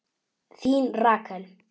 Þín Rakel.